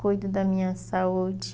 Cuido da minha saúde.